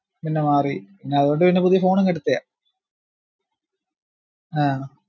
ആഹ് പിന്നെമാറി പിന്നതോണ്ട് പിന്ന പുതിയ phone അങ്ങ് എടുത്തയാ ആഹ്